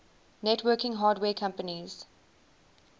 networking hardware companies